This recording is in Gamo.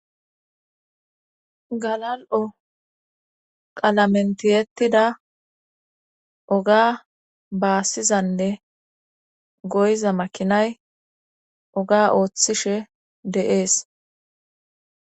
Galal7o qalamentiyettida oga baassizanne goyza makinay oga ooththishe de7ees.